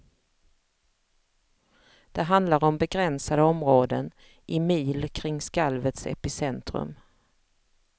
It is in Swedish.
Det handlar om begränsade områden, i mil kring skalvets epicentrum.